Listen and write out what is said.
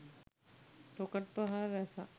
rocket ප්‍රහාර රැසක්